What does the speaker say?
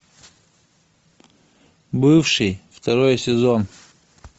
бывший второй сезон